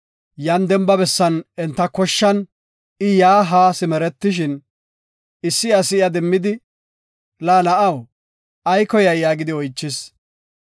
Yan demba bessan enta koshshan yaa haa simeretishin, issi asi iya demmidi, “La na7aw, ay koyay?” yaagidi oychis.